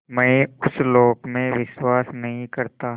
मैं उस लोक में विश्वास नहीं करता